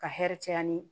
Ka hɛrɛ caya ni